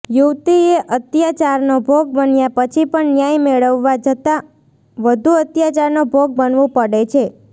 યુવતીએ અત્યાચારનો ભોગ બન્યા પછી પણ ન્યાય મેળવવા જતાં વધુ અત્યાચારનો ભોગ બનવું પડે છે